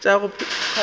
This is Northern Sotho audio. tša go phadima wa go